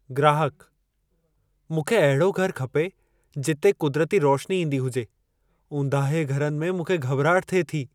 ग्राहकः "मूंखे अहिड़ो घर खपे जिथे क़ुदरती रोशनी ईंदी हुजे. ऊंदाहे घरनि में मूंखे घबि॒राहट थिए थी।